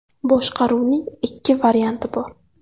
Boshqaruvning ikki varianti bor.